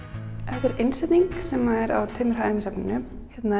þetta er innsetning sem er á tveimur hæðum í safninu hérna